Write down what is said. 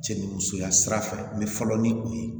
Cɛ ni musoya sira fɛ n bɛ fɔlɔ ni o ye